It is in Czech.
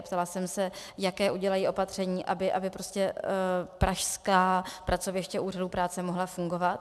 Ptala jsem se, jaká udělají opatření, aby pražská pracoviště Úřadu práce mohla fungovat.